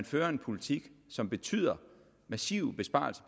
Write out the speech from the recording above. fører en politik som betyder massive besparelser